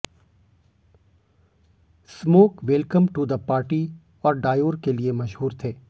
smoke welcome to the party और Dior के लिए मशहूर थे